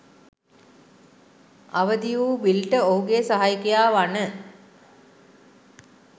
අවදි වූ බිල්ට ඔහුගේ සහයකයා වන